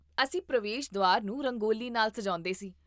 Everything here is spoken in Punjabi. ਅਸੀਂ ਪ੍ਰਵੇਸ਼ ਦੁਆਰ ਨੂੰ ਰੰਗੋਲੀ ਨਾਲ ਸਜਾਉਂਦੇ ਸੀ